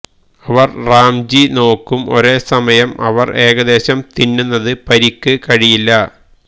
അവർ റാംജീ നോക്കും ഒരേ സമയം അവർ ഏകദേശം തിന്നുന്നത് പരിക്ക് കഴിയില്ല